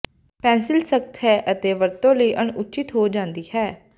pencil ਸਖ਼ਤ ਹੈ ਅਤੇ ਵਰਤੋਂ ਲਈ ਅਣਉਚਿਤ ਹੋ ਜਾਂਦੀ ਹੈ